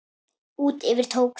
Út yfir tók þegar